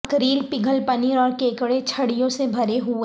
mackerel پگھل پنیر اور کیکڑے چھڑیوں سے بھرے ہوئے